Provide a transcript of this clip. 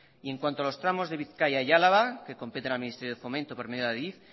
y en cuando a los tramos de bizkaia y álava que competen al ministerio de fomento por medio de adif